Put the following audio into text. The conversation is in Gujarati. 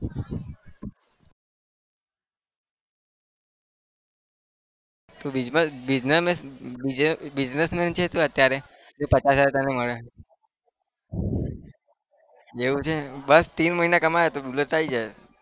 તું businessman છે તું અત્યારે? તે પચાસ હજાર તને મળે એવું છે બસ ત્રણ મહિના કમાવે તો bullet તો આવી જાય